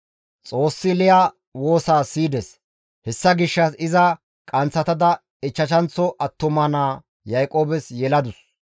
Xoossi Liya woosa siyides; hessa gishshas iza qanththatada ichchashanththo attuma naa Yaaqoobes yeladus.